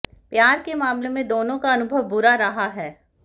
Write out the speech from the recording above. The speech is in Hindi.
प्यार के मामले में दोनों का अनुभव बुरा रहा है